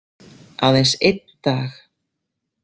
Aðeins einn dag.